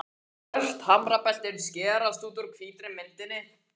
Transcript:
Svört hamrabeltin skerast út úr hvítri myndinni.